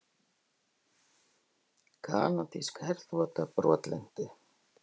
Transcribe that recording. Kanadísk herþota brotlenti